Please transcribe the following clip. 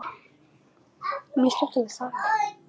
Uss Sunna, þú verður að heyra söguna!